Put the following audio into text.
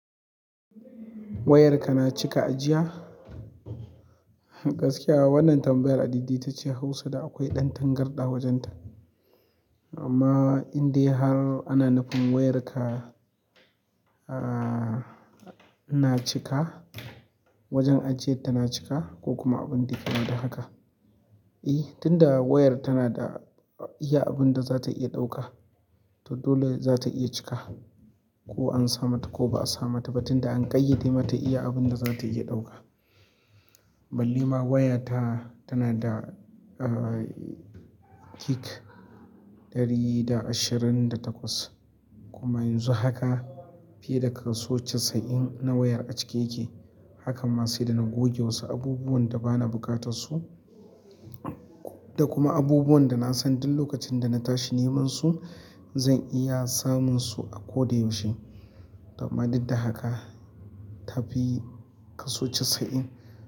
Wayarka na cika ajiya? Gaskiya wannan tambayar a didi ta ce Hausa da akwai ɗan tangarɗa wajenta. Amma indai har ana nufin wayarka, na cika, wajen ajiyar tana cika ko kuma abin da ke nan da haka. Ih tinda wayar tanada iya abunda zata iya ɗauka to dole zata iya cika ko ansa mata ko ba'a samata ba tinda an ƙayyade mata iya abunda zata iya ɗauka ballema waya ta, tana da, ah, gig ɗari da ashirin da takwas kuma yanzu haka fiye da kaso casa'in na wayar a cike yake. Hakanma sai da na goge wasu abubuwan da ba na buƙatar su da kuma abubuwan da na san duk lokacin da na tashi neman su zan iya samun su a ko da yaushe. Amma dudda haka ta fi kaso casa'in.